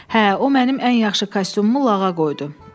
Hə, o mənim ən yaxşı kostyumumu lağa qoydu.